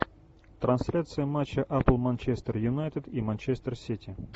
трансляция матча апл манчестер юнайтед и манчестер сити